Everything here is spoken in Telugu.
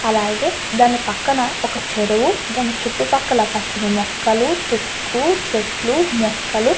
అలాగే దాని పక్కన ఒక చెరువు దాని చుట్టూ పక్కల పచ్చని మొక్కలు తుక్కు చెట్లు మొక్కలు.